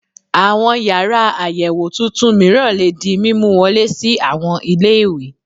Àwọn yàrá àyẹ̀wò tuntun mìíràn lè di mímú wọlé sí àwọn ilé ìwé